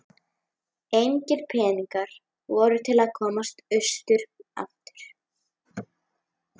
Engir peningar voru til að komast austur aftur.